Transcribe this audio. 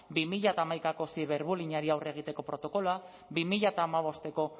bi mila hamaikako ziberbullyingari aurre egiteko protokoloa bi mila hamabosteko